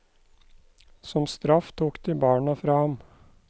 Som straff tok de barna fra ham.